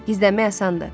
gizlənmək asandır.